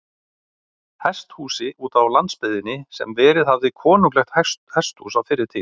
Hesthúsi útá landsbyggðinni, sem verið hafði konunglegt hesthús á fyrri tíð.